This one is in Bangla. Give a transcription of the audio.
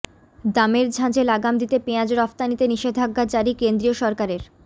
দামের ঝাঁঝে লাগাম দিতে পেঁয়াজ রফতানিতে নিষেধাজ্ঞা জারি কেন্দ্রীয় সরকারের